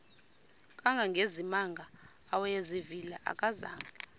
kangangezimanga awayezivile akazanga